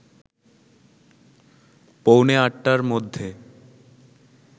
পৌনে ৮টার মধ্যে